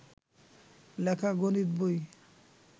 লেখা গণিত বই